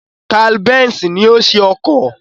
Carl Benz ni ó ṣe ọkọ̀